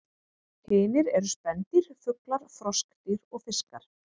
Hinir eru spendýr, fuglar, froskdýr og fiskar.